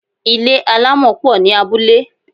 Ilé àlámọ̀ pọ̀ ní abúlé.